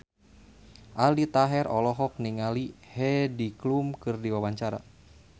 Aldi Taher olohok ningali Heidi Klum keur diwawancara